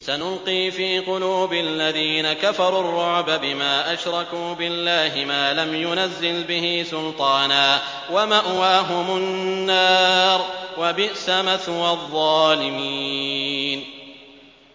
سَنُلْقِي فِي قُلُوبِ الَّذِينَ كَفَرُوا الرُّعْبَ بِمَا أَشْرَكُوا بِاللَّهِ مَا لَمْ يُنَزِّلْ بِهِ سُلْطَانًا ۖ وَمَأْوَاهُمُ النَّارُ ۚ وَبِئْسَ مَثْوَى الظَّالِمِينَ